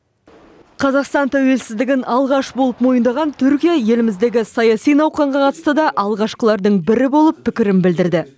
қазақстан тәуелсіздігін алғаш болып мойындаған түркия еліміздегі саяси науқанға қатысты да алғашқылардың бірі болып пікірін білдірді